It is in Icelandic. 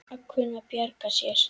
Að kunna að bjarga sér!